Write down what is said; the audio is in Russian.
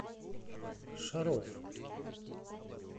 шаров